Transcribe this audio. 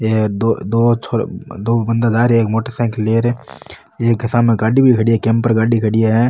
ये दो दो छो दो बाँदा जा रहे है एक मोटर साईकल लिए एक सामने गाड़ी भी खड़ी है केम्पर गाड़ी खड़ी है।